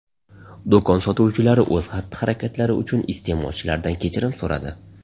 Do‘kon sotuvchilari o‘z xatti-harakatlari uchun iste’molchilardan kechirim so‘radi.